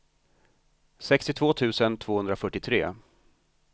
sextiotvå tusen tvåhundrafyrtiotre